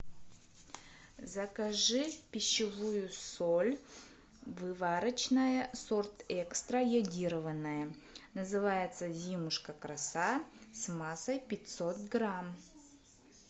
закажи пищевую соль выварочная сорт экстра йодированная называется зимушка краса массой пятьсот грамм